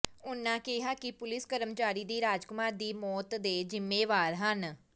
ਉਨ੍ਹਾਂ ਕਿਹਾ ਕਿ ਪੁਲੀਸ ਕਰਮਚਾਰੀ ਹੀ ਰਾਜਕੁਮਾਰ ਦੀ ਮੌਤ ਦੇ ਜ਼ਿੰਮੇਵਾਰ ਹਨ